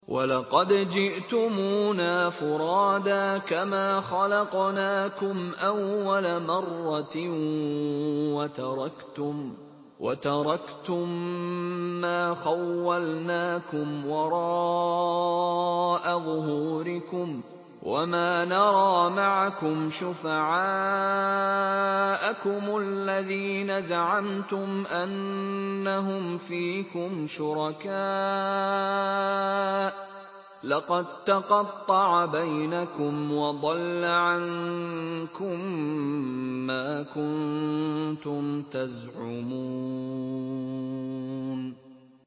وَلَقَدْ جِئْتُمُونَا فُرَادَىٰ كَمَا خَلَقْنَاكُمْ أَوَّلَ مَرَّةٍ وَتَرَكْتُم مَّا خَوَّلْنَاكُمْ وَرَاءَ ظُهُورِكُمْ ۖ وَمَا نَرَىٰ مَعَكُمْ شُفَعَاءَكُمُ الَّذِينَ زَعَمْتُمْ أَنَّهُمْ فِيكُمْ شُرَكَاءُ ۚ لَقَد تَّقَطَّعَ بَيْنَكُمْ وَضَلَّ عَنكُم مَّا كُنتُمْ تَزْعُمُونَ